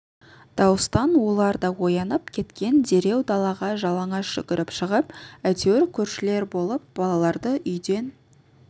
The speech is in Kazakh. дауыстан олар да оянып кеткен дереу далаға жалаңаш жүгіріп шығып әйтеуір көршілер болып балаларды үйден